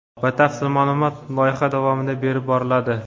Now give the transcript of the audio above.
batafsil ma’lumot loyiha davomida berib boriladi.